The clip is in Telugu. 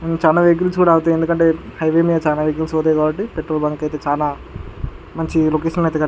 చానా వెహికల్స్ కూడా ఆగుతాయి ఎందుకంటే హైవే మీద చానా వెహికల్స్ పోతాయి కాబట్టి పెట్రోల్ బంక్ కి అయితే చానా మంచి లొకేషన్లో అయితే --